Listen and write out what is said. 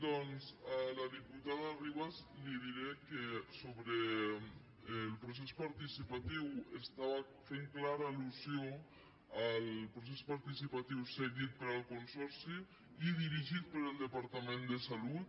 doncs a la diputada ribas li diré que sobre el procés participatiu estava fent clara al·lusió al procés participatiu seguit per al consorci i dirigit pel departament de salut